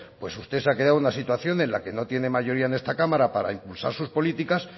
pues usted se ha quedado en una situación en la que no tiene mayoría en esta cámara para impulsar sus políticas